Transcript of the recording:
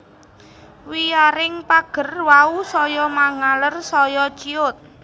Wiyaring pager wau saya mangaler saya ciyut